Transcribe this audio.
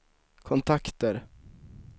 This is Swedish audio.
kontakter